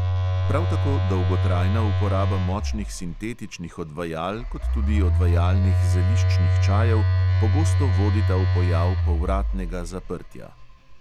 Prav tako dolgotrajna uporaba močnih sintetičnih odvajal kot tudi odvajalnih zeliščnih čajev pogosto vodita v pojav povratnega zaprtja.